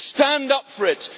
Stand up for it.